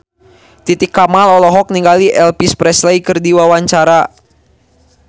Titi Kamal olohok ningali Elvis Presley keur diwawancara